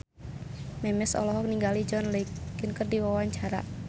Memes olohok ningali John Legend keur diwawancara